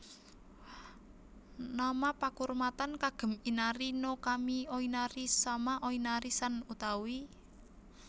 Nama pakurmatan kagem Inari no kami Oinari sama Oinari san utawi